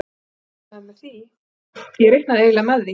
Ég reiknaði eiginlega með því.